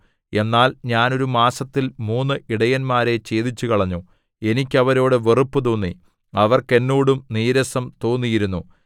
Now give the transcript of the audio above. എന്നാൽ ഞാൻ ഒരു മാസത്തിൽ മൂന്ന് ഇടയന്മാരെ ഛേദിച്ചുകളഞ്ഞു എനിക്ക് അവരോടു വെറുപ്പുതോന്നി അവർക്ക് എന്നോടും നീരസം തോന്നിയിരുന്നു